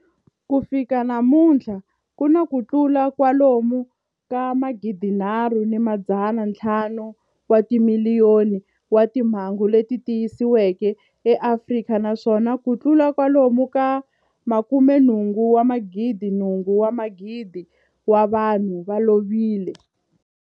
Ku fika namuntlha ku na kutlula kwalomu ka 3.5 wa timiliyoni wa timhangu leti tiyisisiweke eAfrika, naswona kutlula kwalomu ka 88,000 wa vanhu va lovile.